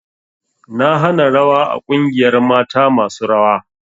Na hana rawa a ƙungiyar mata masu rawa!